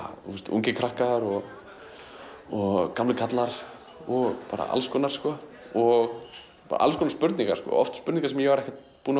ungir krakkar og og gamlir kallar og bara alls konar sko og alls konar spurningar spurningar sem ég var ekki búinn að